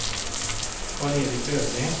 Karl-Erik Lövgren